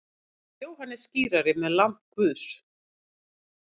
Jóhannes skírari með lamb Guðs.